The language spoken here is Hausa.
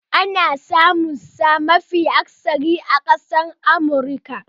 Jerky ana samunsa mafi akasari a Amurka.